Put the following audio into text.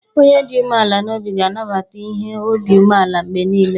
Onye dị umeala n’obi ga na-anabata ihe obi umeala mgbe niile.